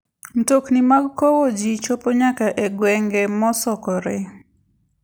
Mtokni mag kowo ji chopo nyaka e gwenge mosokore.